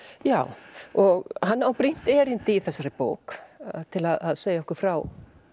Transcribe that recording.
já og hann á brýnt erindi í þessari bók til að segja okkur frá